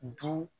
Du